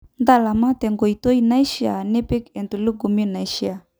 Ntalama tenkoitoi naishiaa nipik entulugumi naishiaa